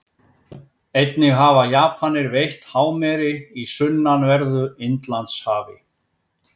Einnig hafa Japanir veitt hámeri í sunnanverðu Indlandshafi.